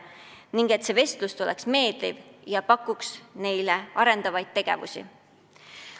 Ning need vestlused peavad olema meeldivad ja pakkuma neile arendavaid tegevusi.